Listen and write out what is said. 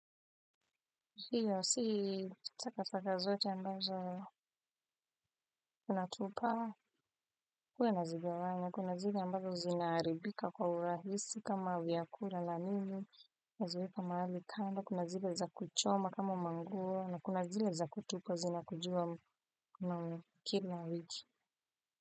Hiyo si saka saka zote ambazo unatupa. Huwa nazigawanya kuna zile ambazo zinaharibika kwa urahisi kama vyakula na nini. Naziweka mahali kando kuna zile za kuchoma kama manguo na kuna zile za kutupwa zinakujiwa kila wiki.